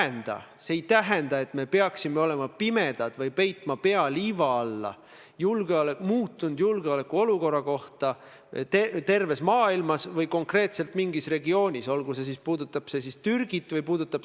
Ma ütlesin tõesti teie esimesele küsimusele vastates, et kui teil need andmed on, siis tuleb need anda prokuratuurile ja teha selgeks, kuidas peaminister seda riiki siis igal esimesel võimalusel maha müüb ehk reedab.